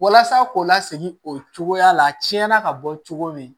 Walasa k'o lasegin o cogoya la a tiɲɛna ka bɔ cogo min